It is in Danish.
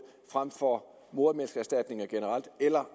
frem for modermælkserstatning generelt eller